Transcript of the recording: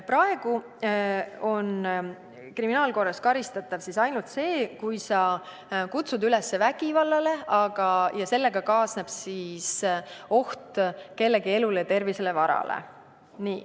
Praegu on kriminaalkorras karistatav ainult see, kui sa kutsud üles vägivallale ja sellega kaasneb oht kellegi elule, tervisele või varale.